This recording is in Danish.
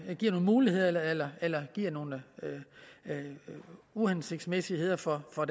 muligheder eller eller giver nogle uhensigtsmæssigheder for for